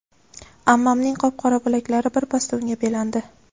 Ammamning qop-qora bilaklari birpasda unga belandi.